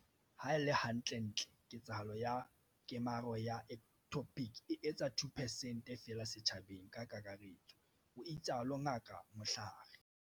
Ha e le hantle-ntle, ketsahalo ya kemaro ya ectopic e etsa 2 percent feela setjhabeng ka kakaretso, o itsalo Ngaka Mhlari.